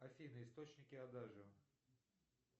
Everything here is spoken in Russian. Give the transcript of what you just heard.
афина источники адажио